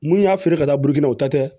Mun y'a feere ka taa burukina o ta tɛ